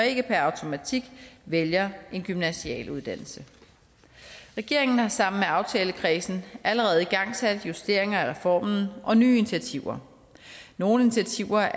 ikke per automatik vælger en gymnasial uddannelse regeringen har sammen med aftalekredsen allerede igangsat justeringer af reformen og nye initiativer nogle initiativer